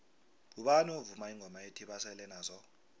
ngubani ovuma ingoma ethi basele nazo